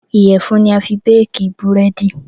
Iyẹ̀fun ni a fi béèkí Búrẹ́dì